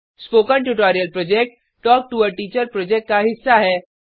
spoken tutorial project talk to a teacher project का हिस्सा है